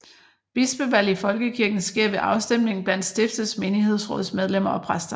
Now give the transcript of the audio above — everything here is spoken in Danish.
Bispevalg i Folkekirken sker ved afstemning blandt stiftets menighedsrådsmedlemmer og præster